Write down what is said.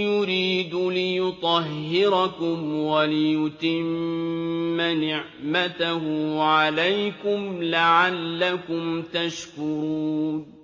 يُرِيدُ لِيُطَهِّرَكُمْ وَلِيُتِمَّ نِعْمَتَهُ عَلَيْكُمْ لَعَلَّكُمْ تَشْكُرُونَ